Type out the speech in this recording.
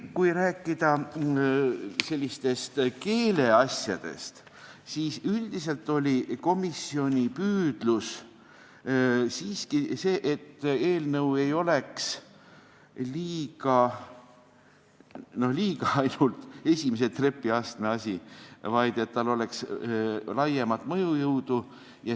Kui rääkida veel keeleasjadest, siis üldiselt oli komisjoni püüdlus siiski see, et eelnõu ei oleks mitte ainult esimese trepiastme asi, vaid et sel oleks laiemat mõjujõudu.